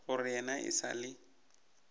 gore yena e sa le